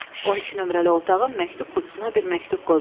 12 nömrəli otağın məktub qutusuna bir məktub qoymalıyam.